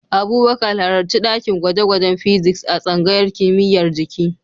Abubakar, halarci dakin gwaje-gwajen Physics a tsangayar kimiyyar jiki.